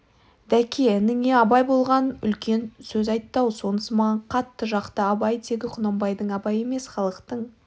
дәке ініңе абай үлкен сөз айтты-ау сонысы маған қатты жақты абай тегі құнанбайдың абайы емес халықтың